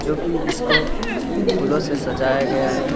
जो की इसको फूलो से सजाया गया है।